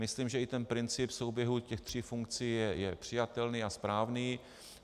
Myslím, že i ten princip souběhu těch tří funkcí je přijatelný a správný.